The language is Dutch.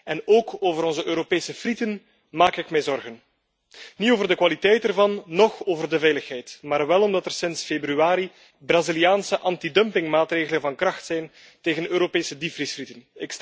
En ook over onze Europese frieten maak ik mij zorgen. Niet over de kwaliteit ervan, noch over de veiligheid, maar wel omdat er sinds februari Braziliaanse antidumpingmaatregelen van kracht zijn tegen Europese diepvriesfrieten.